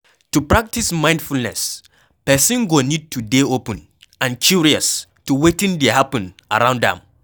To practice mindfulness person go need to dey open and curious to wetin dey happen around am